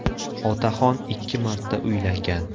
Otaxon ikki marta uylangan.